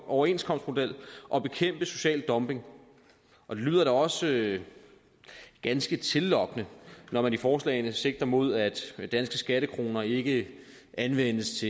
overenskomstmodel og bekæmpe social dumping og det lyder da også ganske tillokkende når man i forslagene sigter mod at danske skattekroner ikke anvendes